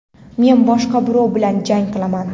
Men boshqa birov bilan jang qilaman.